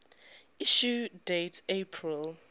issue date april